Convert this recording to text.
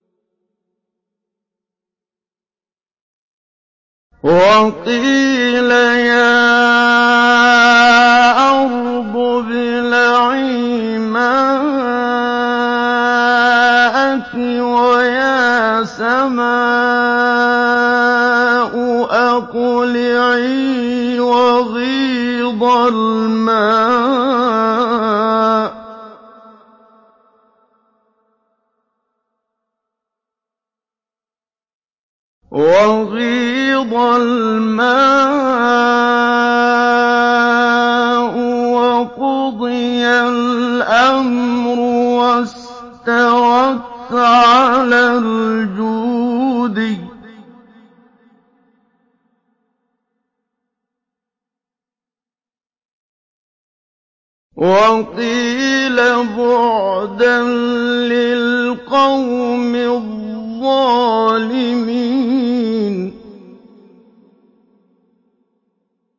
وَقِيلَ يَا أَرْضُ ابْلَعِي مَاءَكِ وَيَا سَمَاءُ أَقْلِعِي وَغِيضَ الْمَاءُ وَقُضِيَ الْأَمْرُ وَاسْتَوَتْ عَلَى الْجُودِيِّ ۖ وَقِيلَ بُعْدًا لِّلْقَوْمِ الظَّالِمِينَ